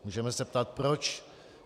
Můžeme se ptát proč.